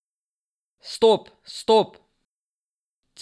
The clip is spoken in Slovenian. Stop, stop!